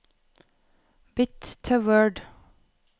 Bytt til Word